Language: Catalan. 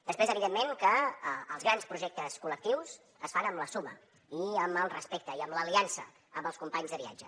després evidentment que els grans projectes col·lectius es fan amb la suma i amb el respecte i amb l’aliança amb els companys de viatge